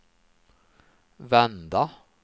vända